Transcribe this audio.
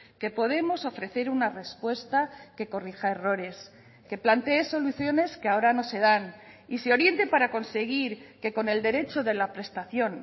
que podemos ofrecer una respuesta que corrija errores que plantee soluciones que ahora no se dan y se oriente para conseguir que con el derecho de la prestación